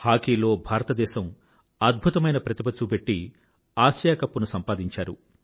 హాకీలో భారతదేశం అద్భుతమైన ఆటలు చూపెట్టి ఆసియా కప్ బిరుదుని సంపాదించారు